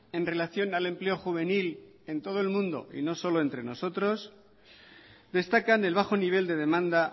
en relación al empleo juvenil en todo el mundo y no solo entre nosotros destacan el bajo nivel de demanda